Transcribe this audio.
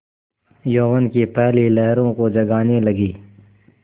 यौवन की पहली लहरों को जगाने लगी